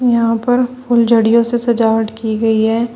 यहां पर फुलझड़ियो से सजावट की गई है।